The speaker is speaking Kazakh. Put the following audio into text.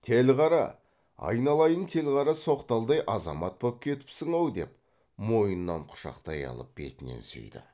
телғара айналайын телғара соқталдай азамат боп кетіпсің ау деп мойнынан құшақтай алып бетінен сүйді